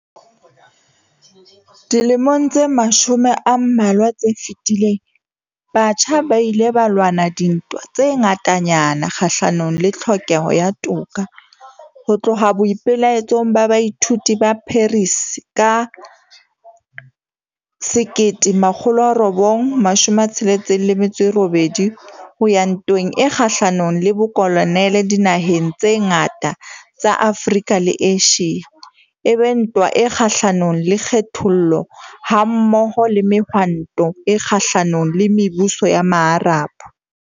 Dilemong tse mashome a mmalwa tse fetileng, batjha ba ile ba lwana dintwa tse ngatanyana kgahlanong le tlhokeho ya toka, ho tloha boipe-laetsong ba baithuti ba Paris ka 1968, ho ya ntweng e kgahlanong le bokoloniale dinaheng tse ngata tsa Afrika le Asia, e be ntwa e kgahlanong le kgethollo, ha-mmoho le Mehwanto e Kgahla-nong le Mebuso ya Maarab.